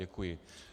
Děkuji.